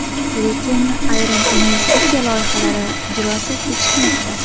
Lekin ayrim investitsiya loyihalari ijrosi kechikmoqda.